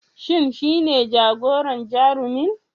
Shin shine jagoran Jarumin